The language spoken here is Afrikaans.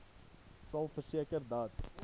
sal verseker dat